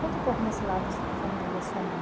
Conta um pouco desse lado da sua da família da sua mãe.